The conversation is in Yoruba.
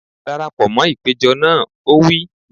Dara pọ̀ mọ́ ìpéjọ pọ̀ náà! Ó wí.